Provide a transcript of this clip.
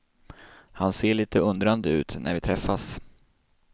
Han ser lite undrande ut när vi träffas.